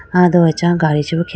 ah do acha gadi chi bi khe.